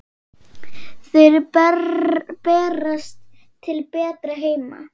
Þeir berast til betri heima.